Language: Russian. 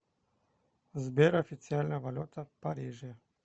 сбер официальная валюта в париже